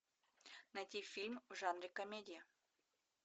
найти фильм в жанре комедия